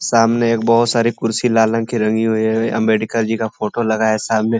सामने एक बहुत सारी कुर्सी लाल रंग की रंगी हुई है ये अम्बेडकर जी का फोटो लगा है सामने --